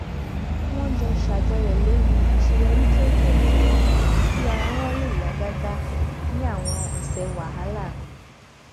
wọn jọ ṣàjọyọ lórí àṣeyọrí kéékèèké kí ara wọn lè yá gágá ní àwọn ọsẹ wàhálà